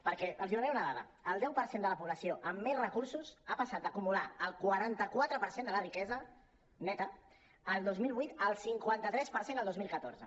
perquè els donaré una dada el deu per cent de la població amb més recursos ha passat d’acumular el quaranta quatre per cent de la riquesa neta el dos mil vuit al cinquanta cinc per cent el dos mil catorze